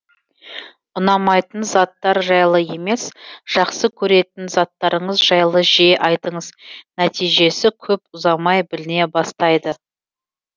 ұнамайтын заттар жайлы емес жақсы көретін заттарыңыз жайлы жиі айтыңыз нәтижесі көп ұзамай біліне бастайды